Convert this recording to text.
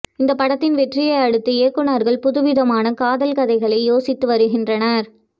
இந்த படத்தின் வெற்றியை அடுத்து இயக்குனர்கள் புதுவிதமான காதல் கதைகளை யோசித்து வருகின்றனர்